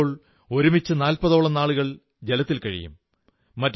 ചിലപ്പോൾ ഒരുമിച്ച് നാൽപ്പതോളം നാളുകൾ ജലത്തിൽ കഴിയും